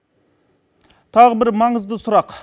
тағы бір маңызды сұрақ